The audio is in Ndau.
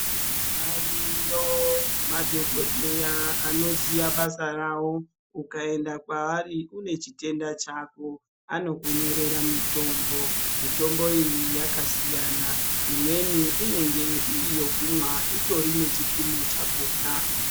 Ariyo madhokodheya anoziva basa ravo ukaenda kwaari uine chitenda chako anokunyorera mitombo mitombo iyi yakasiyana imweni inenge iriyokumwa itorine chipimo chakona .